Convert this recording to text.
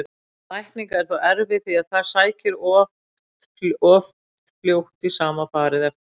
Lækning er þó erfið því það sækir oft fljótt í sama farið eftir meðferð.